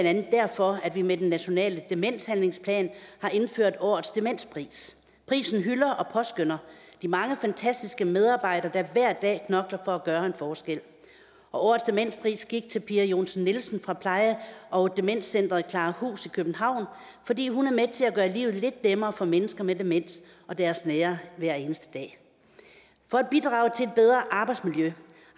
andet derfor at vi med den nationale demenshandlingsplan har indført årets demenspris prisen hylder og påskønner de mange fantastiske medarbejdere der hver dag knokler for at gøre en forskel og årets demenspris gik til pia johnsen nielsen fra pleje og demenscenteret klarahus i københavn fordi hun er med til at gøre livet lidt nemmere for mennesker med demens og deres nære hver eneste dag for at bidrage til et bedre arbejdsmiljø